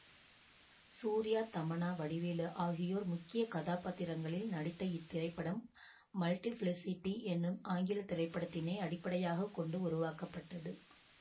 சூர்யா தமன்னா வடிவேலு ஆகியோர் முக்கிய கதாபாத்திரங்களில் நடித்த இத்திரைப்படம் மல்டிபிலிசிட்டி என்னும் ஆங்கில திரைப்படத்தினை அடிப்படையாக கொண்டு உருவாக்கப்பட்டது